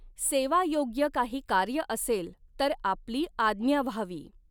सेवायोग्य कांही कार्य असेल तर आपली आज्ञा व्हावी.